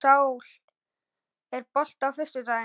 Sál, er bolti á föstudaginn?